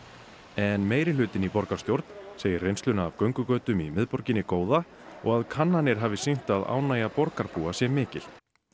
en meirihlutinn í borgarstjórn segir reynsluna af göngugötum í miðborginni góða og að kannanir hafi sýnt að ánægja borgarbúa sé mikil